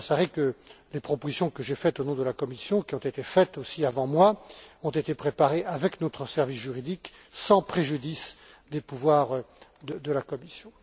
M. Baldassarre que les propositions que j'ai faites au nom de la Commission, qui ont été faites aussi avant moi, ont été préparées avec notre service juridique, sans préjudice des pouvoirs de la Commission.